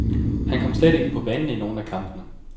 Han kom slet ikke på banen i nogen af kampene.